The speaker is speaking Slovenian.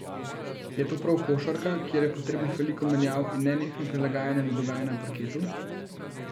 Je to prav košarka, kjer je potrebnih veliko menjav in nenehno prilagajanje na dogajanje na parketu?